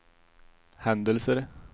händelser